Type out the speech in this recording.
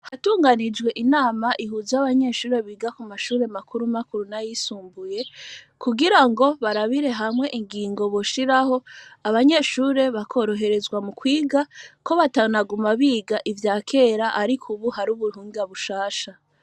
Hatunganijwe inama ihuza y'abanyeshure biga ku mashure makuru makuru na yisumbuye kugira ngo barabire hamwe ingingo boshiraho abanyeshure bakoroherezwa mu kwiga ko batanaguma biga ivya kera, ariko, ubu hari ubuhunga bushasha.